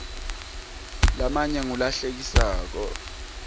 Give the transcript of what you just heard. lamanye ngula hlekisako